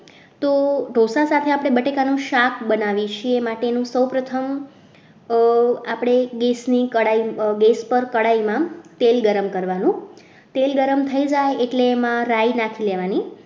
તો ઢોસા સાથે આપણે બટેકાનું શાક બનાવીએ છીએ એના માટે સૌ પ્રથમ આપણે એક દેશની કડાઈ બેજ પર કઢાઈમાં તેલ ગરમ કરવાનું તેલ ગરમ થઈ જાય એટલે એમાં રાઈ નાખી લેવાની